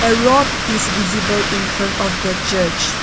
road is visible infront of the church.